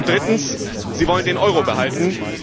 Drittens Sie wollen den Euro behalten